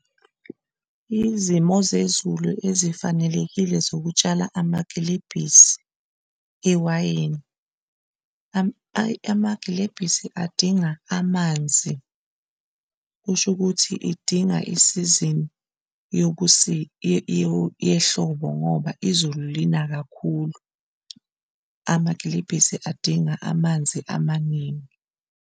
Izimo zezulu ezifanelekile zokutshala amagilebhisi ewayini, amagilebhisi adinga amanzi kusho ukuthi idinga isizini yehlobo, ngoba izulu lina kakhulu amagilebhisi adinga amanzi amaningi.